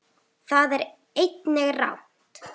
Það er einnig rangt.